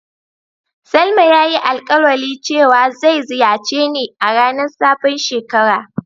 Salma ya yi alkawali cewa zai ziyace ni a ranan sabon shekara.